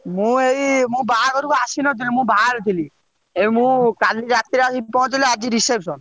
ମୁଁ ଏଇ ମୁଁ ବାହାଘରକୁ ଆସିନଥିଲି ମୁଁ ବାହାରେ ଥିଲି ଏଇ ମୁଁ କାଲି ରାତିରେ ଆସିକି ପହଞ୍ଚିଲି ଆଜି reception ।